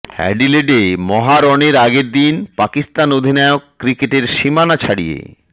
অ্যাডিলেডে মহারণের আগের দিন পাকিস্তান অধিনায়ক ক্রিকেটের সীমানা ছাড়িয়ে